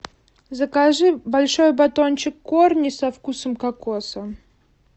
закажи большой батончик корни со вкусом кокоса